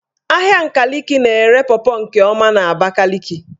Ahịa Nkaliki na-ere pọpọ nke ọma n''Abakaliki.